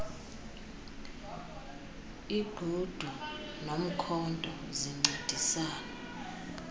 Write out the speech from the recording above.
igqudu nomkhonto zincedisana